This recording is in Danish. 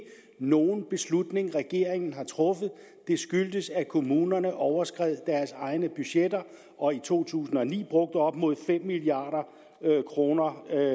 nogen beslutning regeringen har truffet den skyldtes at kommunerne overskred deres egne budgetter og i to tusind og ni brugte op mod fem milliard kroner